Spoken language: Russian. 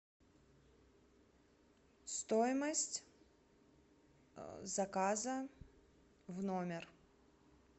стоимость заказа в номер